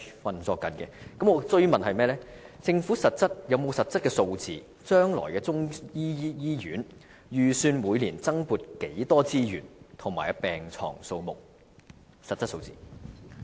我要追問，政府有沒有實質的數字，就將來中醫醫院，預算每年增撥多少資源及病床數目的實質數字？